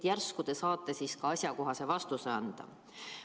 Järsku te saate asjakohase vastuse anda.